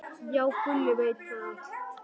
Já, Gulli veit þetta allt.